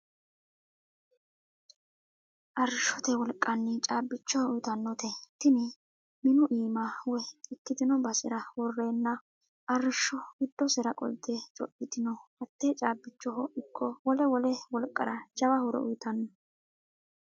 Arrishote wolqanni caabbicho uyittanote tini minu iima woyi ikkitino basera worrenna arrisho giddosera qolte codhittano hate caabbichoho ikko wole wole wolqara jawa horo uyittanno.